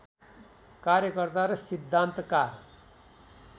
कार्यकर्ता र सिद्धान्तकार